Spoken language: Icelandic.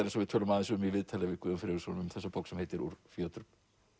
eins og við tölum aðeins um í viðtali við Guðjón Friðriksson um þessa bók sem heitir úr fjötrum